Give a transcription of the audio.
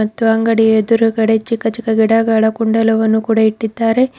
ಮತ್ತು ಅಂಗಡಿಯ ಎದುರುಗಡೆ ಚಿಕ್ಕ ಚಿಕ್ಕ ಗಿಡಗಳ ಕುಂಡಲವನ್ನು ಕೂಡ ಇಟ್ಟಿದ್ದಾರೆ.